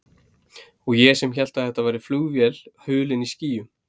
Og ég sem hélt að þetta væri flugvél hulin í skýjum.